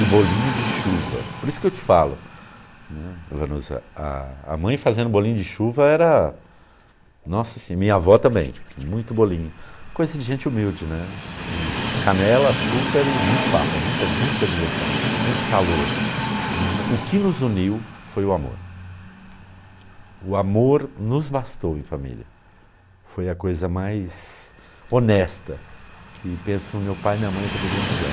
e bolinho de chuva por isso que eu te falo, né, vanusa, a a mãe fazendo bolinho de chuva era nossa assim, minha avó também, muito bolinho coisa de gente humilde canela, açúcar e muito papo muita muita diversão, muito calor o que nos uniu foi o amor o amor nos bastou em família foi a coisa mais honesta que penso meu pai e minha mãe poderiam nos dar